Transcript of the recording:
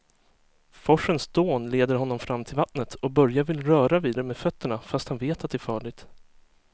Forsens dån leder honom fram till vattnet och Börje vill röra vid det med fötterna, fast han vet att det är farligt.